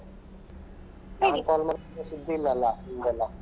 ನಾನ್ call ಮಾಡದಿದ್ರೆ ಸುದ್ದಿ ಇಲ್ಲ ಅಲ ನಿಮ್ದೇಲ್ಲಾ.